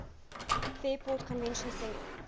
fairport convention singer